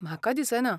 म्हाका दिसना.